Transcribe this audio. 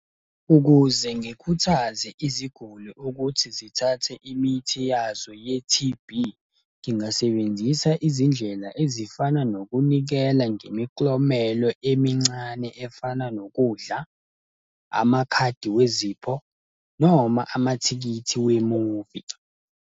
Ukuze ngikhuthaze iziguli ukuthi zithathe imithi yazo ye-T_B, ngingasebenzisa izindlela ezifana nokunikela ngemiklomelo emincane efana nokudla, amakhadi wezipho, noma amathikithi wemuvi.